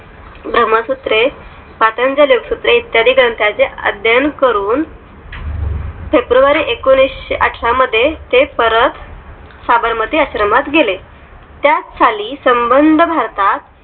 ब्रह्मसूत्र पात्रांच्या लेफ्ट इत्यादी ग्रंथांचे अध्ययन करून february एकोणीशेअठरा मध्ये ते परत साबरमती आश्रमात गेले त्या झाली संबंध भारतात